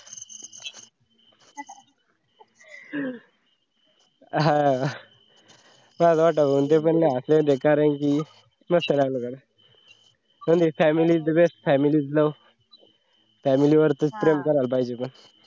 हा लाज वाटावं असं पण बेकार आहे कि मस्त राहिले म्हणजे the family is a best families love family वर च प्रेम करायला पाहिजे होतं.